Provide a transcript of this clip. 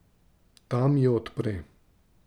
Ta mi jo odpre.